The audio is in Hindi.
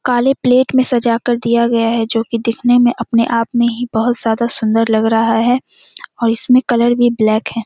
काले प्लेट में सजा कर दिया गया है जो की दिखने में अपने आप में ही बहुत ज़्यादा सुन्दर लग रहा है और इसमें कलर भी ब्लैक है।